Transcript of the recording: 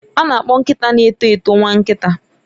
A na-akpọ nkịta na-eto eto nwa nkita.